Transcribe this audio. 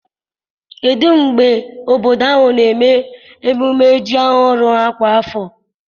kedụ mgbe obodo ahụ na-eme ememme ham ọhụrụ ha kwa afọ?